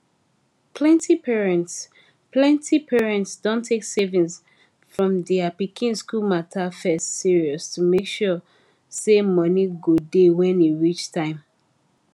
plenti parents plenti parents don take saving for their pikin school matter first serious to make sure say money go dey when e reach time